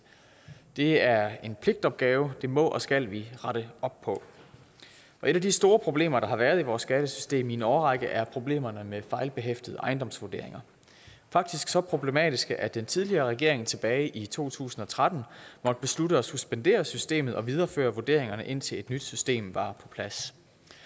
det er en pligtopgave det må og skal vi rette op på et af de store problemer der har været i vores skattesystem i en årrække er problemerne med fejlbehæftede ejendomsvurderinger faktisk så problematiske at den tidligere regering tilbage i to tusind og tretten måtte beslutte at suspendere systemet og videreføre vurderingerne indtil et nyt system var på plads